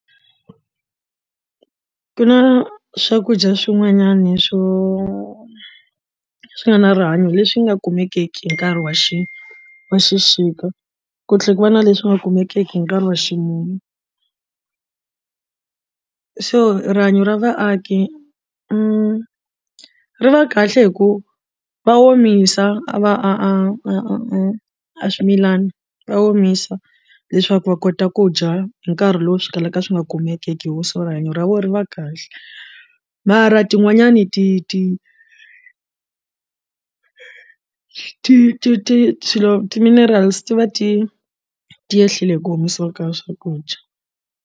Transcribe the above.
Ku na swakudya swin'wanyana swo swi nga na rihanyo leswi nga kumekeki hi nkarhi wa xi wa xixika ku tlhela ku va na leswi nga kumekeki hi nkarhi wa ximumu so rihanyo ra vaaki ri va kahle hi ku va omisa a va a a a a swimilana va omisa leswaku va kota ku dya hi nkarhi lowu swi kalaka swi nga kumekiki hi ku rihanyo ra vona ri va kahle mara tin'wanyani ti ti ti ti ti swilo ti minerals ti va ti ti yehlile hi ku omisiwa ka swakudya.